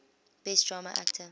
best drama actor